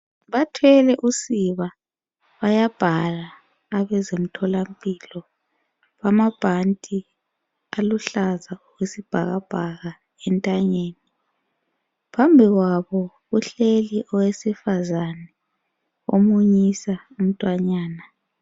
Bathwele usiba bayabhala abezemtholampilo lamabhanti aluhlaza okwesibhakabhaka entanyeni. Phambi kwabo uhleli owesifazana omunyisa umntwanyana.